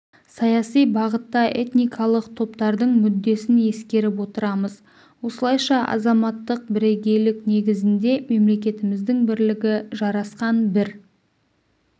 саяси бағытта этникалық топтардың мүддесін ескеріп отырмыз осылайша азаматтық бірегейлік негізінде мемлекетіміздің бірлігі жарасқан бір